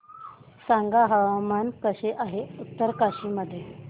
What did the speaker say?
सांगा हवामान कसे आहे उत्तरकाशी मध्ये